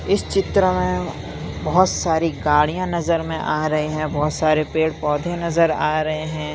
इस चित्र में बहोत सारी गाड़ियाँ नज़र में आ रहे है बहोत सारे पेड़ पोधै नज़र आ रहे हैं।